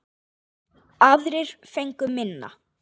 Aðrir fengu minna.